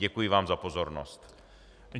Děkuji vám za pozornost.